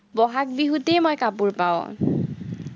বহাগ বিহুতেই মই কাপোৰ পাঁও